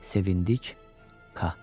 Sevindik, Qa.